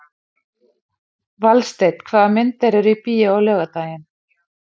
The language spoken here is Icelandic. Valsteinn, hvaða myndir eru í bíó á laugardaginn?